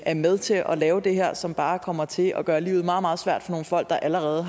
er med til at lave det her som bare kommer til at gøre livet meget meget svært for nogle folk der allerede